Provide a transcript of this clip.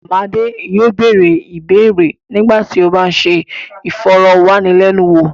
Madé yóò bẹ̀rẹ̀ ìbéèrè nígbà tí ó bá ń ṣe ìfọ̀rọ̀wánilẹ́nuwò.